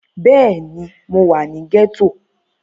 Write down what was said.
Bẹ́ẹ̀ni, mo wà ní gẹ́tò